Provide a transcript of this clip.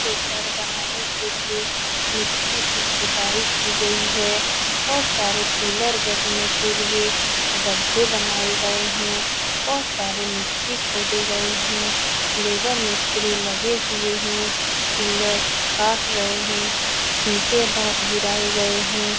ये घर बनाने के लिए मिट्टी की खुदाई की गयी है बहुत सारे पीलर गड़ने के लिए गड्ढे बनाए गए हैं बहुत सारे मिट्टी खोदें गए हैं लेबर - मिस्त्री लगे हुए हैं पीलर काट रहे हैं ईटें बहुत गिराए गए हैं ।